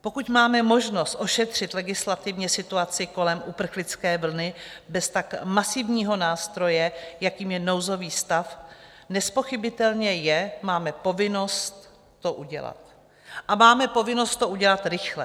Pokud máme možnost ošetřit legislativně situaci kolem uprchlické vlny bez tak masivního nástroje, jakým je nouzový stav, nezpochybnitelné je, máme povinnost to udělat a máme povinnost to udělat rychle.